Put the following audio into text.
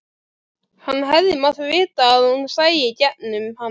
Hann hefði mátt vita að hún sæi í gegnum hann.